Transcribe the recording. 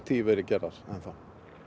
því verið gerðar enn þá